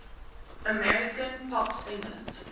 american pop singers